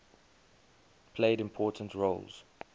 played important roles